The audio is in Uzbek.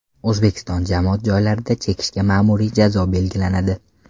O‘zbekiston jamoat joylarida chekishga ma’muriy jazo belgilanadi.